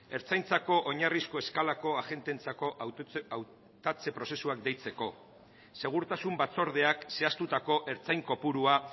ertzaintzako oinarrizko eskalako agenteentzako hautatze prozesuak deitzeko segurtasun batzordeak zehaztutako ertzain kopurua